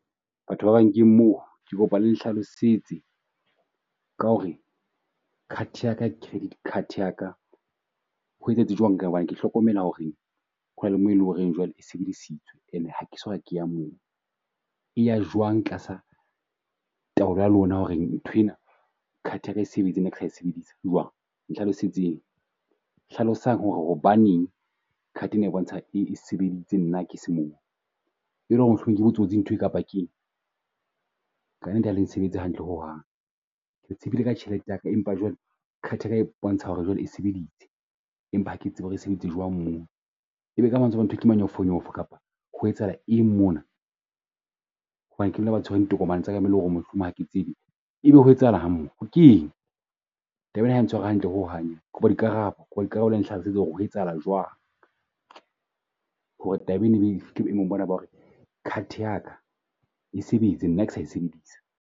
Batho ba bang ke moo ke kopa le nhlalosetse ka ho re card ya ka credit card ya ka ho etsahetse jwang. Ka hobane ke hlokomela ho re ho na le mo e leng ho re jwale e sebedisitswe ene ha ha ke so ka ke ya moo. E ya jwang tlasa taolo ya lona ho re nthwena card ya ka e sebetse nna ke sa e sebedisa jwang? Nhlalosetseng, hlalosang ho re hobaneng card ena e bontsha e e sebeditse nna ke se moo. e le ho re mohlomong ke botsotsi nthwe kapa keng? ka nnete ha leng sebetse hantle ho hang, re tsebile ka tjhelete yaka, empa jwale card ya ka e bontsha ho re jwale e sebeditse. Empa ha ke tsebe ho re sebeditse jwang moo, e be ka mantswe a mang nthwe ke manyofonyofo kapa ho etsahala eng mona. Hobane ke mang a tshwereng ditokomane tsa ka e be mohlomong hake tsebe. E be ho etsahalang moo, keng? Taba ena ha e ntshware hantle ho hang ena. Kopa dikarabo, kopa ka dikarabo le nhlalosetse ho re ho etsahala jwang hore taba ena ebe fihle boemong bona ba ho re card ya ka e sebetse nna ke sa e sebedisa?